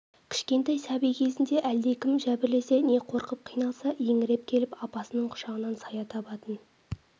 кішкентай сәби кезінде әлдекім жәбірлесе не қорқып қиналса еңіреп келіп апасының құшағынан сая табатын